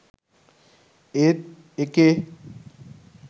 ඒත් එකේ